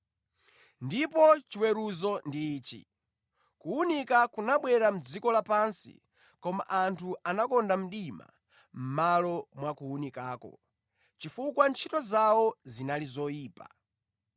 Ndipo chiweruzo ndi ichi: kuwunika kunabwera mʼdziko lapansi, koma anthu anakonda mdima mʼmalo mwa kuwunikako, chifukwa ntchito zawo zinali zoyipa.